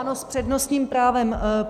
Ano, s přednostním právem.